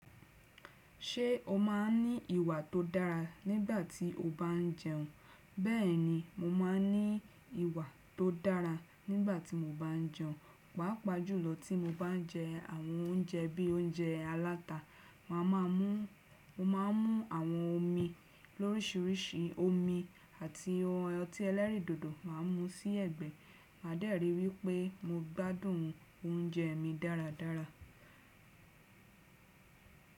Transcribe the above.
Ṣé o máa ń ní ìwà tó dára nígbà tí o bá ń jẹun? Bẹ́ẹ̀ni, mo máa ń ní ìwà tó dára nígbà tí mo bá ń jẹun. Pàápàjùlọ tí mo bá ń jẹ àwọn oúnjẹ bí i oúnjẹ aláta. Mo má a mú àwọn omi lórísìíríṣìí. Pàápàjùlọ tí mo bá ń jẹ àwọn oúnjẹ bí i oúnjẹ aláta. Màá dẹ́rì wípé mo gbádùn oúnjẹ mi dáradára.